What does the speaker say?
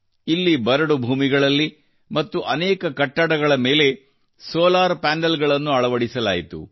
ಇಲ್ಲಿ ಬರಡು ಭೂಮಿಗಳಲ್ಲಿ ಮತ್ತು ಅನೇಕ ಕಟ್ಟಡಗಳ ಮೇಲೆ ಸೋಲಾರ್ ಪ್ಯಾನೆಲ್ ಗಳನ್ನು ಅಳವಡಿಸಲಾಯಿತು